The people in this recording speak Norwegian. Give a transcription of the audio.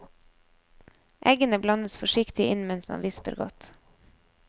Eggene blandes forsiktig inn mens man visper godt.